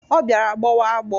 Ọ bịara gbọwa agbọ.